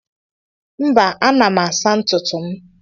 Mba, ana m asa ntutu m.